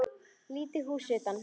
Lítið hús utan.